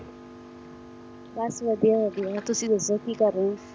ਬਸ ਵਾਦੀਆਂ ਵਾਦੀਆਂ ਤੁਸੀ ਦੱਸੋ ਕਿ ਕਰ ਰਹੇ ਹੋ